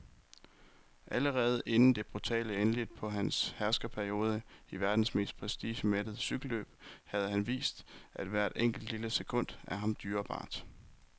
Allerede inden det brutale endeligt på hans herskerperiode i verdens mest prestigemættede cykelløb havde han vist, at hvert enkelt, lille sekund er ham dyrebart.